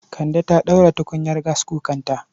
Kande ta ɗaura tukunya gaskukanta